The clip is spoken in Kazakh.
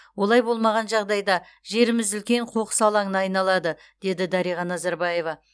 олай болмаған жағдайда жеріміз үлкен қоқыс алаңына айналады деді дариға назарбаева